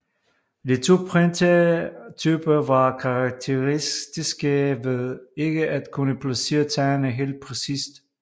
De to printertyper var karakteristiske ved ikke at kunne placere tegnene helt præcist